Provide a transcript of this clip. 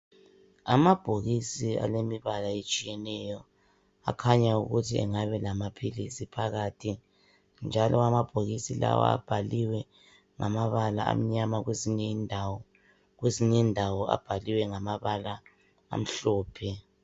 Amabhokisi alemibala etshiyeneyo akhanya ukuthi engabe lamaphilisi phakathi njalo amabhokisi lawa abhaliwe ngamabala amnyama kwezinye indawo kwezinye indawo abhaliwe ngamabala amhlophe.